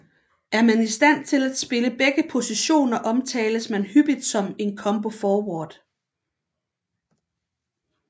Er man i stand til at spille begge positioner omtales man hyppigt som en combo forward